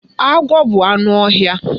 Agwọ bụ anụ ọhịa.